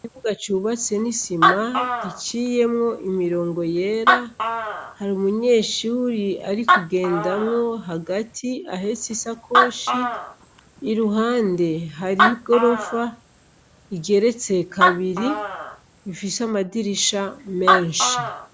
Ikibuga cubatse n' isima giciyemwo imirongo yera hari umunyeshure ari kugendamwo hagati ahetse isakoshi iruhande hariho igorofa igeretse kabiri ifise amadirisha menshi.